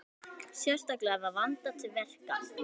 Sérstaklega var vandað til verka